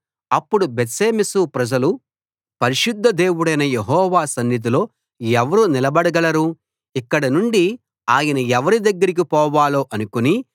అప్పుడు బేత్షెమెషు ప్రజలు పరిశుద్ధ దేవుడైన యెహోవా సన్నిధిలో ఎవరు నిలబడగలరు ఇక్కడి నుండి ఆయన ఎవరి దగ్గరికి పోవాలో అనుకుని